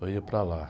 Eu ia para lá.